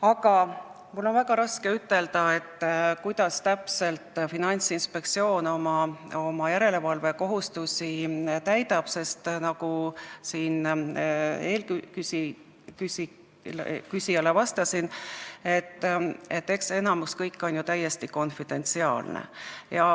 Aga mul on väga raske ütelda, kuidas täpselt Finantsinspektsioon oma järelevalvekohustusi täidab, sest nagu ma eelküsijale vastasin, enamik sellest on ju täiesti konfidentsiaalne.